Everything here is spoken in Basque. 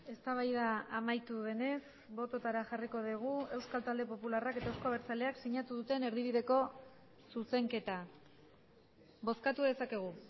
eztabaida amaitu denez bototara jarriko dugu euskal talde popularrak eta euzko abertzaleak sinatu duten erdibideko zuzenketa bozkatu dezakegu